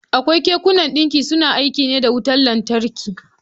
Akwai kekunan ɗinki suna aiki ne da wutan lantarki.